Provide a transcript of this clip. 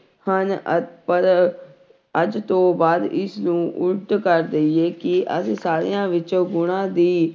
ਹਨ ਅ ਪਰ ਅੱਜ ਤੋਂ ਬਾਅਦ ਇਸ ਨੂੰ ਉਲਟ ਕਰ ਦੇਈਏ ਕਿ ਅਸੀਂ ਸਾਰਿਆਂ ਵਿੱਚੋਂ ਗੁਣਾਂ ਦੀ